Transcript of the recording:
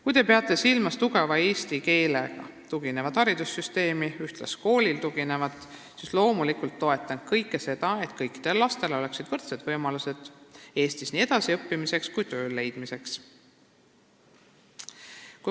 " Kui te peate silmas tugevale eesti keele oskusele ja ühtluskoolile tuginevat haridussüsteemi, siis ma loomulikult toetan seda, et kõikidel lastel oleksid Eestis võrdsed võimalused nii edasiõppimisel kui ka töö leidmisel.